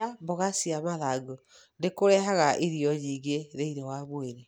Kũrĩa mboga cia mathangũ nĩ kũrehaga irio nyingĩ thĩinĩ wa mwĩrĩ.